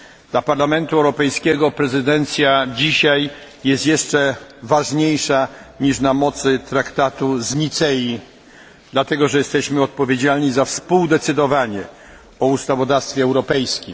Dla Parlamentu Europejskiego prezydencja dzisiaj jest jeszcze ważniejsza niż na mocy traktatu z Nicei, dlatego że jesteśmy odpowiedzialni za współdecydowanie o ustawodawstwie europejskim.